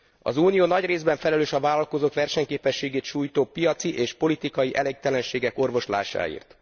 Az Unió nagy részben felelős a vállalkozók versenyképességét sújtó piaci és politikai elégtelenségek orvoslásáért.